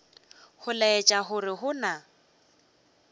go laetša gore go na